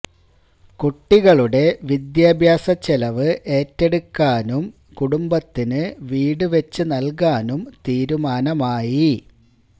കുട്ടികളുടെ വിദ്യാഭ്യാസ ചെലവ് ഏറ്റെടുക്കാനും കുടുംബത്തിന് വീട് വെച്ച് നൽകാനും തീരുമാനമായി